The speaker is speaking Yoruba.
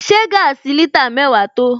Ṣé gaasi litre mẹ́wàá tó?